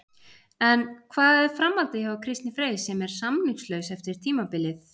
En hvað er framhaldið hjá Kristni Frey sem er samningslaus eftir tímabilið?